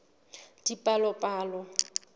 dipalopalo